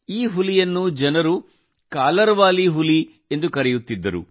ಈ ಹುಲಿಯನ್ನು ಜನರು ಕಾಲರ್ ವಾಲಿ ಹೆಣ್ಣು ಹುಲಿ ಎಂದು ಕರೆಯುತ್ತಿದ್ದರು